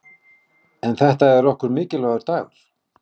En þetta er okkur mikilvægur dagur.